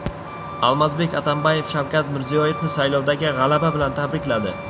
Almazbek Atambayev Shavkat Mirziyoyevni saylovdagi g‘alaba bilan tabrikladi.